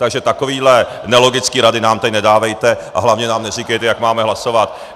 Takže takovéhle nelogické rady nám tady nedávejte a hlavně nám neříkejte, jak máme hlasovat!